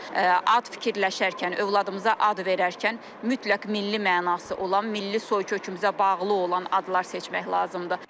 Ad fikirləşərkən, övladımıza ad verərkən mütləq milli mənası olan, milli soykökümüzə bağlı olan adlar seçmək lazımdır.